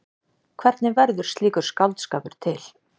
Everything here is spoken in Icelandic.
Hvernig verður slíkur skáldskapur til?